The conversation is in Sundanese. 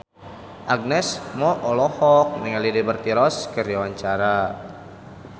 Agnes Mo olohok ningali Liberty Ross keur diwawancara